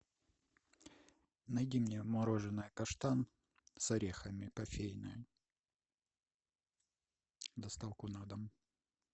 найди мне мороженое каштан с орехами кофейное доставку на дом